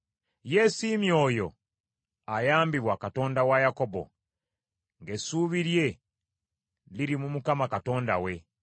Yeesiimye oyo ayambibwa Katonda wa Yakobo; ng’essuubi lye liri mu Mukama Katonda we,